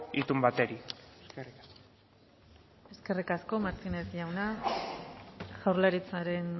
itun bati eskerrik asko eskerrik asko martínez jauna jaurlaritzaren